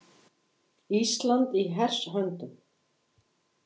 Ísland í hers höndum.